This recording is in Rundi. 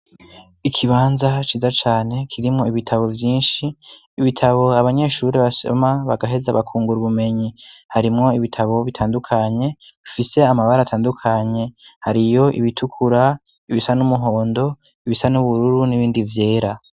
Ikibanza ciza cane kirimwo ibitabo vyinshi, ibitabo abanyeshuri basoma bagaheza bakungura ubumenyi, harimwo ibitabo bitandukanye bifise amabara atandukanye, hariyo ibitukura, ibisa n'umuhondo, ibisa n'ubururu n'ibindi vyera.